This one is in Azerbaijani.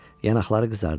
Yanaqları qızardı.